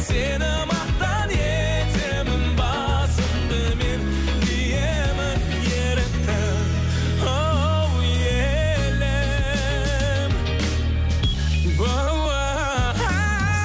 сені мақтан етемін басымды мен иемін ерікті хоу елім